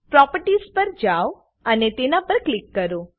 properties પર જાઓ અને તેના પર ક્લિક કરો